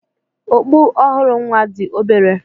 Okpu ọhụrụ nwa dị obere.